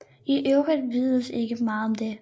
I øvrigt vides ikke meget om det